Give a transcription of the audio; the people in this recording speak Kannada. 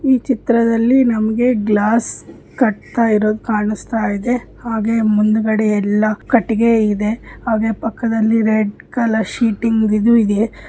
ಈ ಚಿತ್ರದಲ್ಲಿ ನಮಗೆ ಗ್ಲಾಸ್ ಕಟ್ಟುತ ಇರೋದು ಕಾಣಿಸ್ತಾ ಇದೆ ಹಾಗೆ ಮುಂದುಗಡೆ ಎಲ್ಲ ಕಟ್ಟಿಗೆ ಇದೆ ಹಾಗೆ ಪಕ್ಕದಲ್ಲಿ ರೆಡ್ ಕಲರ್ ಶೀಟಿಂಗ್ ಇದು ಇದೆ.